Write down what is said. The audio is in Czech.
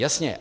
Jasně.